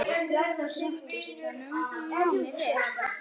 Þar sóttist honum námið vel.